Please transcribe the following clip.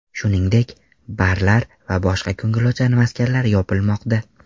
Shuningdek, barlar va boshqa ko‘ngilochar maskanlar yopilmoqda.